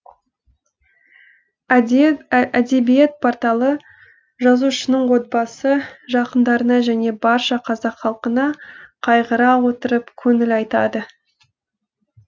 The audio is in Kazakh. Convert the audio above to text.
әдебиет порталы жазушының отбасы жақындарына және барша қазақ халқына қайғыра отырып көңіл айтады